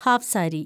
half sari